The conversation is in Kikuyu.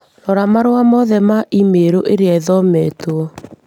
Rora marũa mothe ma i-mīrū ĩria ĩtathometo